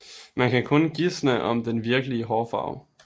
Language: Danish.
Man kan kun gisne om den virkelige hårfarve